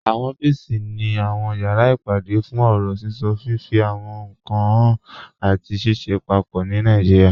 Awọn ọ̀fíìsì ni awọn yàrá ìpàdé fún ọ̀rọ̀ síṣọ, fifí àwọn ìnkan háàn, àti ṣìṣẹ̀ pápọ̀ ní Nàìjíríà.